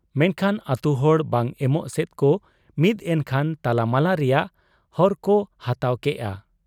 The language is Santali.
ᱢᱮᱱᱠᱷᱟᱱ ᱟᱹᱛᱩᱦᱚᱲ ᱵᱟᱝ ᱮᱢᱚᱜ ᱥᱮᱫ ᱠᱚ ᱢᱤᱫ ᱮᱱᱠᱷᱟᱱ ᱛᱟᱞᱟᱢᱟᱞᱟ ᱨᱮᱭᱟᱜ ᱦᱚᱨᱠᱚ ᱦᱟᱛᱟᱣ ᱠᱮᱜ ᱟ ᱾